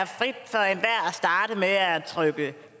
starte med at trykke